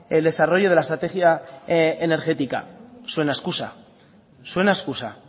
el desarrollo de la estrategia energética suena a excusa suena a excusa